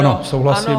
Ano, souhlasím.